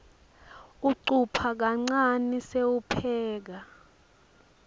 ucupha kancane sewupheka